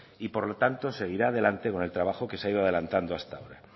y por lo tanto seguirá adelante con el trabajo que se ha ido adelantando hasta ahora